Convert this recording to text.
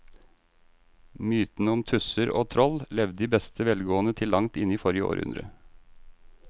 Mytene om tusser og troll levde i beste velgående til langt inn i forrige århundre.